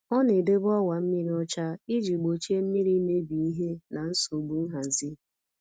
Ọ na-edobe ọwa mmiri ọcha iji gbochie mmiri imebi ihe na nsogbu nhazi.